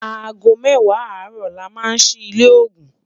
àgó méwàá àró là má sí ilé ògún